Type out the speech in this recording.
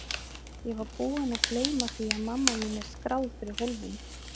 Ég var búin að gleyma því að mamma mín er skráð fyrir hólfinu.